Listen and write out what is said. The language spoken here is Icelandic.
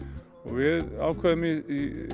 og við ákváðum í